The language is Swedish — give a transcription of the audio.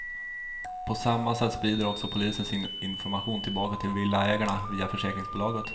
På samma sätt sprider också polisen sin information tillbaka till villaägarna via försäkringsbolaget.